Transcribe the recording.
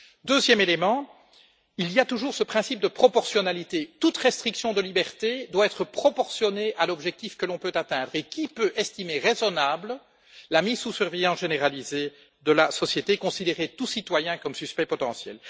Ensuite, il y a toujours ce principe de proportionnalité toute restriction de liberté doit être proportionnée à l'objectif que l'on peut atteindre qui peut estimer raisonnable la mise sous surveillance généralisée de la société et le fait de considérer tout citoyen comme suspect potentiel?